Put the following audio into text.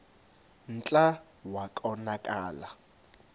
kclta wa konakala